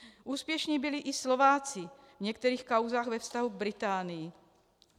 Úspěšní byli i Slováci v některých kauzách ve vztahu k Británii.